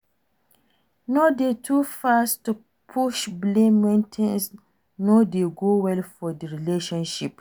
No de too fast to push blame when things no dey go well for di relationship